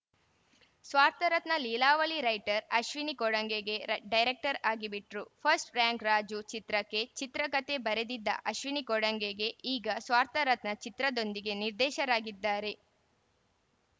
ಸ್ವಾರ್ಥರತ್ನ ಲೀಲಾವಳಿ ರೈಟರ್‌ ಅಶ್ವಿನಿ ಕೊಡಂಗೆಗೆ ಡೈರೆಕ್ಟರ್‌ ಆಗ್ಬಿಟ್ರು ಫಸ್ಟ್‌ ರ್ಯಾಂಕ್ ರಾಜು ಚಿತ್ರಕ್ಕೆ ಚಿತ್ರಕತೆ ಬರೆದಿದ್ದ ಅಶ್ವಿನಿ ಕೊಡಂಗೆ ಈಗ ಸ್ವಾರ್ಥರತ್ನ ಚಿತ್ರದೊಂದಿಗೆ ನಿರ್ದೇಶರಾಗಿದ್ದಾರೆ